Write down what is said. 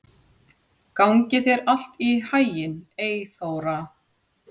Gangi þér allt í haginn, Eyþóra.